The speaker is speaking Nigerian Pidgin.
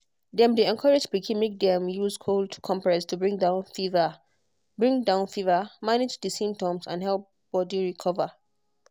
dem dey encourage pikin make dem use cold compress to bring down fever bring down fever manage di symptoms and help body recover